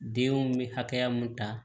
Denw bɛ hakɛ mun ta